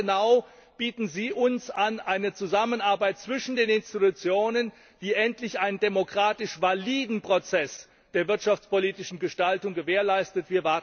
Wann genau bieten Sie uns eine Zusammenarbeit zwischen den Institutionen an, die endlich einen demokratisch validen Prozess der wirtschaftspolitischen Gestaltung gewährleistet?